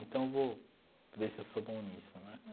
Então, vou ver se eu sou bom nisso né.